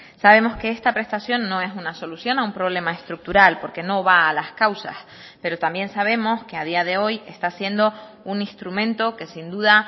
sabemos que esta prestación no es una solución a un problema estructural porque no va a las causas pero también sabemos que a día de hoy está siendo un instrumento que sin duda